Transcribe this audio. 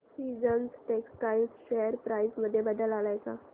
seasons textile share price मध्ये बदल आलाय का